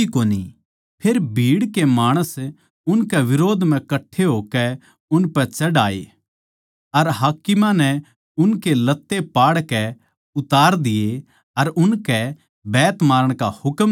फेर भीड़ के माणस उनकै बिरोध म्ह कट्ठे होकै उनपै चढ़ याए अर हाकिमां नै उनके लत्ते पाड़कै उतार दिये अर उनकै बैत मारण का हुकम दिया